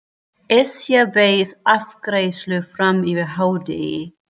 Esja beið afgreiðslu fram yfir hádegi.